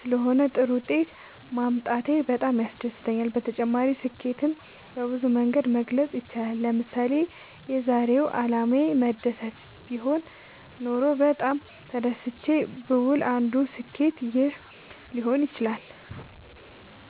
ስለሆነ ጥሩ ውጤት ማምጣቴ በጣም ያስደስተኛል። በተጨማሪ ስኬትን በብዙ መንገድ መግለፅ ይቻላል ለምሳሌ የዛሬው አላማዬ መደሰት ቢሆን ኖሮ በጣም ተደስቼ ብውል አንዱ ስኬት ይህ ሊሆን ይችላል